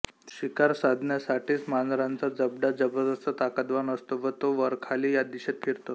शिकार साधण्यासाठीच मांजरांचा जबडा जबरदस्त ताकदवान असतो व तो वरखाली या दिशेत फिरतो